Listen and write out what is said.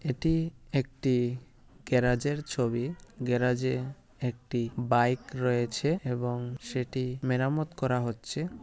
এটি একটি গ্যারাজ এর ছবি। গ্যারাজ এ একটি বাইক রয়েছে এবং সেটি মেরামত করা হচ্ছে।